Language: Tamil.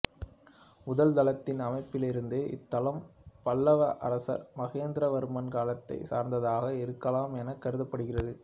முதல் தளத்தின் அமைப்பிலிருந்து இத்தளம் பல்லவ அரசர் மகேந்திரவர்மன் காலத்தைச் சார்ந்ததாக இருக்கலாம் எனக் கருதப்படுகிறது